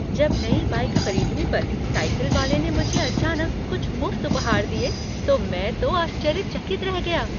जब नई बाइक खरीदने पर साइकिल वाले ने मुझे अचानक कुछ मुफ्त उपहार दिए तो मैं तो आश्चर्यचकित रह गया।